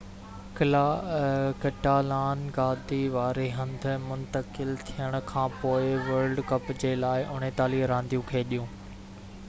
ڪاٽالان-گادي واري هنڌ منتقل ٿيڻ کانپوءِ وڊل ڪلب جي لاءِ 49 رانديون کيڏيون